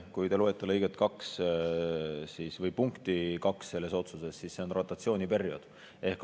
Kui te loete selle otsuse punkti 2, siis näete, et see on rotatsiooniperioodi kohta.